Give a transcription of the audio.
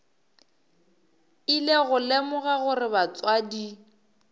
ile go lemoga gore batswadi